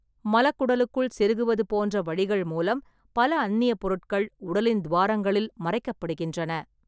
மலக்குடலுக்குள் செருகுவது போன்ற வழிகள் மூலம், பல அந்நியப் பொருட்கள் உடலின் துவாரங்களில் மறைக்கப்படுகின்றன.